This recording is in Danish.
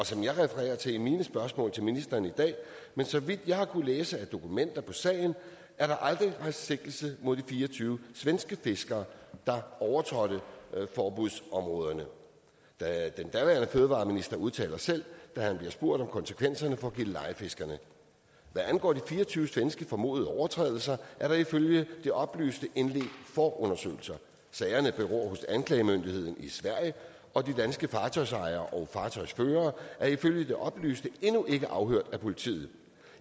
som jeg refererer til i mine spørgsmål til ministeren i dag så vidt jeg har kunnet læse i dokumenter i sagen er der aldrig rejst sigtelse mod de fire og tyve svenske fiskere der overtrådte forbuddet i områderne den daværende fødevareminister udtalte selv da han blev spurgt om konsekvenserne for gillelejefiskerne hvad angår de fire og tyve svenske formodede overtrædelser er der ifølge det oplyste indledt forundersøgelser sagerne beror hos anklagemyndigheden i sverige og de danske fartøjsejere og fartøjsførere er ifølge det oplyste endnu ikke afhørt af politiet